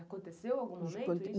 Aconteceu algum momento isso?